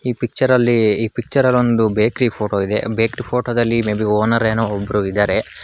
ಈ ಪಿಚ್ಚರಲ್ಲಿ ಈ ಪಿಚ್ಚರಲ್ಲೊಂದು ಬೇಕ್ರಿ ಫೋಟೋ ಇದೆ ಬೇಕರಿ ಫೋಟೋ ದಲ್ಲಿ ಮೇ ಬಿ ಓನರ್ ಏನೋ ಒಬ್ರು ಇದ್ದಾರೆ.